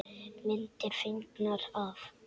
Myndir fengnar af